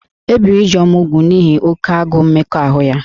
E biri Ijeoma úgwù n'ihi oke agụụ mmekọahụ ya